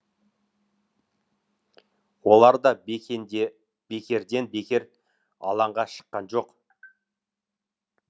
олар да бекерден бекер алаңға шыққан жоқ